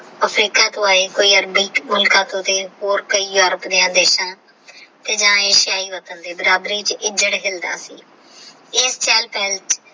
Africa ਤੋਂ ਆਏ ਕੋਈ ਅਰਬੀ ਹੋਰ ਕਈ ਯੋਰਪ ਦੀਆਂ ਦੇਸ਼ਾ ਤੇ ਜਾ ਏਸ਼ੀਆਈ ਵਤਨ ਦੇ ਬਰਾਬਰੀ ਵਿੱਚ